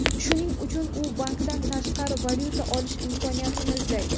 Shuning uchun u bankdan tashqari valyuta olish imkoniyatini izlaydi.